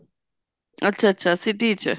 ਅੱਛਾ ਅੱਛਾ city ਵਿੱਚ